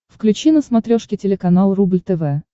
включи на смотрешке телеканал рубль тв